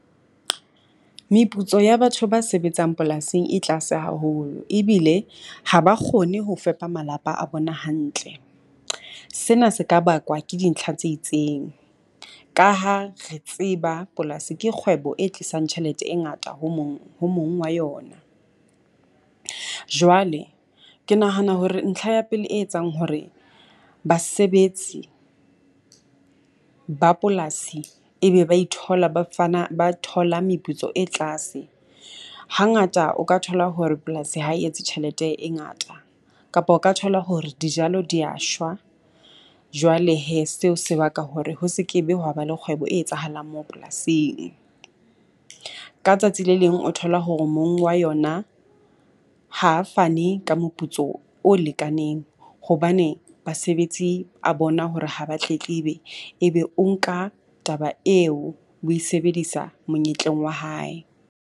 Meputso ya batho ba sebetsang polasing e tlase haholo ebile ha ba kgone ho fepa malapa a bona hantle. Sena se ka bakwa ke dintlha tse itseng ka ha re tseba polasi ke kgwebo e tlisang tjhelete e ngata ho mong ho mong wa yona. Jwale ke nahana hore ntlha ya pele e etsang hore basebetsi ba polasi e be ba ithola ba fana ba thola meputso e tlase, hangata o ka thola hore polasi ha e etse tjhelete e ngata, kapa o ka thola hore dijalo di ya shwa. Jwale hee seo se baka hore ho se ke be ho wa ba le kgwebo e etsahalang mo polasing. Ka tsatsi le leng o thola hore mong wa yona ha fane ka moputso o lekaneng hobane basebetsi a bona hore ha ba tletlebe, e be o nka taba eo oe sebedisa monyetleng wa hae.